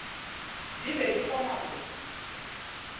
di be di kgona go